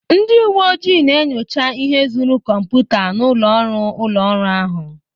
Ndị uwe ojii na-enyocha ihe ezuru kọmputa n'ụlọ ọrụ ụlọ ọrụ ahụ